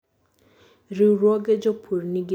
riwruoge jopur nigi teko kendo duol mar miyo owinjgi